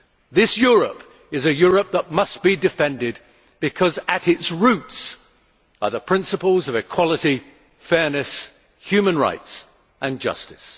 This Europe is a Europe that must be defended, because at its roots are the principles of equality, fairness, human rights and justice.